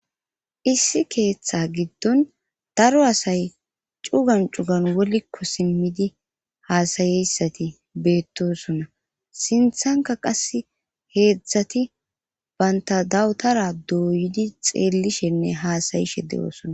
Issi keeththa giddon daro asay cugan cugan wolikko simmidi haasayeyssati beettosona sinthanka qas heedzdzati baynta dawutara dooyidi xeellishenne haasayishe de7oosona.